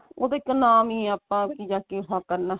ਉਹ ਤੇ ਇੱਕ ਨਾਮ ਹੀ ਆ ਆਪਾਂ ਅੱਗੇ ਜਾ ਕੇ ਇਹ ਕਰਨਾ